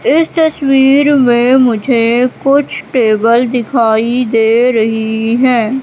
इस तस्वीर में मुझे कुछ टेबल दिखाई दे रही है।